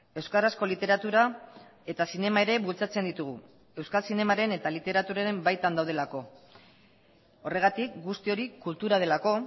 euskarazko literatura eta zinema ere bultzatzen ditugu euskal zinemaren eta literaturaren baitan daudelako horregatik guzti hori kultura delako